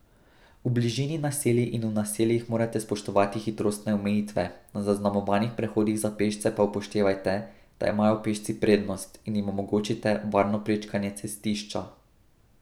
V bližini naselij in v naseljih morate spoštovati hitrostne omejitve, na zaznamovanih prehodih za pešce pa upoštevajte, da imajo pešci prednost, in jim omogočite varno prečkanje cestišča.